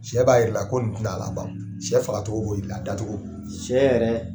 Sɛ b'a jirai la ko nin tɛna laban , sɛ fagacogo b'o la , a da cogo, sɛ yɛrɛ.